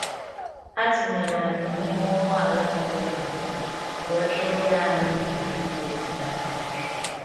Ha tinyere anyị n’ime ụgbọ ala mepere emepe wee kpụria anyị gburugburu obodo ahụ.